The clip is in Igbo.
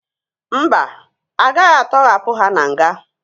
Mba, agaghị atọhapụ ya na nga